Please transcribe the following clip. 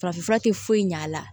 Farafinfura tɛ foyi ɲɛ a la